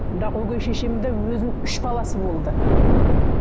бірақ өгей шешемде өзінің үш баласы болды мхм